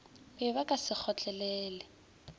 be ba ka se kgotlelele